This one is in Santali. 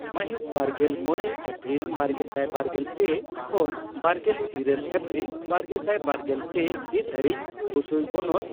ᱢᱟᱦᱤᱛ ᱵᱟᱨᱜᱮᱞ ᱢᱚᱲᱮ ᱮᱯᱨᱤᱞ ᱵᱟᱨᱜᱮᱥᱟᱭ ᱵᱟᱨᱜᱮᱞ ᱯᱮ ᱠᱷᱚᱱᱵᱟᱨᱜᱮᱞ ᱤᱨᱟᱹᱞ ᱮᱯᱨᱤᱞ ᱵᱟᱨᱜᱮᱥᱟᱭ ᱵᱟᱨᱜᱮᱞ ᱯᱮ ᱦᱤᱛ ᱫᱷᱟᱹᱨᱤᱡ ᱵᱩᱥᱩᱭ ᱵᱚᱱᱚᱛ